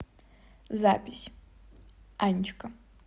запись анечка